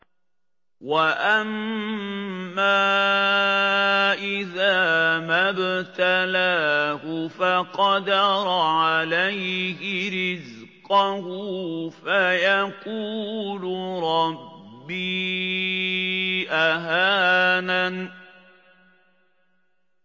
وَأَمَّا إِذَا مَا ابْتَلَاهُ فَقَدَرَ عَلَيْهِ رِزْقَهُ فَيَقُولُ رَبِّي أَهَانَنِ